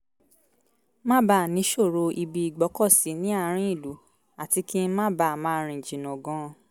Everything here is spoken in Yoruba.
má bàa níṣòro ibi ìgbọ́kọ̀sí ní àárín ìlú àti kí n má bàa máa rìn jìnnà gan-an